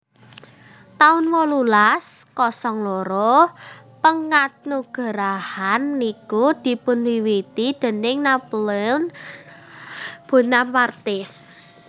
taun wolulas kosong loro Penganugerahan niku dipunwiwiti déning Napoleon Bonaparte